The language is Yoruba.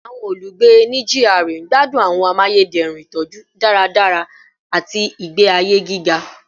Awọn olugbe ni GRA gbadun awọn amayederun itọju daradara ati igbe aye giga